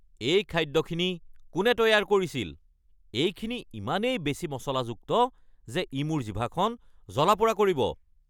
এই খাদ্যখিনি কোনে তৈয়াৰ কৰিছিল? এইখিনি ইমানেই বেছি মচলাযুক্ত যে ই মোৰ জিভাখন জ্বলা-পোৰা কৰিব।